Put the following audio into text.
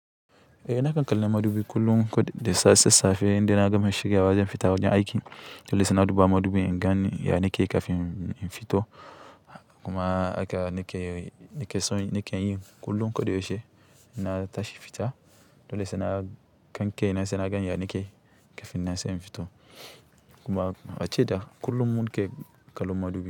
Eh nakan kallon madubi kullum ko da sassafe idan na gama shirya wa zan fita wajen aiki, dole sai na duba madubin inganni ya nake kafin in fito. Kuma haka nake yin kullum koda yaushe in natashi fita dole saina ga kaina yakake kafin nan sai in fito. Kuma ace da kullum muke kallon madubi.